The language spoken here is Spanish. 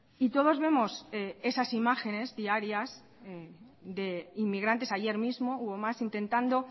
y todos vemos esas imágenes diarias de inmigrantes ayer mismo hubo más intentando